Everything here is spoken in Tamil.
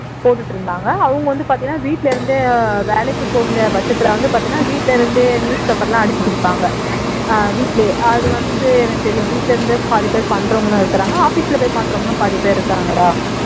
போட்டுட்டு இருந்தாங்க அவங்க வந்து பாத்தீன்னா வீட்ல இருந்தே வேலைக்கு போகமுடியாத பட்சத்துல வந்து பாத்தீன்னா வீட்ல இருந்தே news paper எல்லாம் அடிச்சு குடுப்பாங்க அஹ் வீட்லயே அது வந்து எனக்கு தெரியும் வீட்ல இருந்தே பாதிபேர் பண்றவுங்களும் இருக்காங்க office போய் பண்றவுங்களும் பாதிபேர் இருக்காங்கடா